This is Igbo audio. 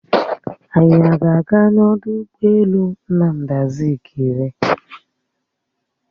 Anyị a ga-aga n'ọdụ ụgbọelu Nnamdi Azikiwe?